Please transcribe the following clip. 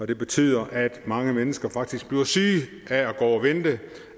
det betyder at mange mennesker faktisk bliver syge